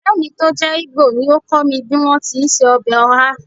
Ọ̀rẹ́ mi tó jẹ́ Igbo ni ó kọ́ mi bí wọ́n ti ń se ọbẹ̀ oha